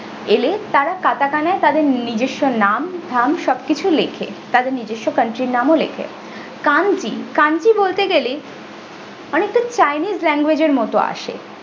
এলে তারা katakana এই তাদের নিজস্ব নাম ধাম সবকিছু লেখে তাদের নিজস্ব country এর নাম ও লেখে kanjikanji বলতে গেলে অনেকটা chineselanguage এর মতো আসে।